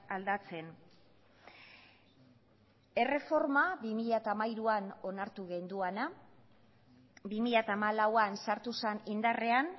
aldatzen erreforma bi mila hamairuan onartu genuena bi mila hamalauan sartu zen indarrean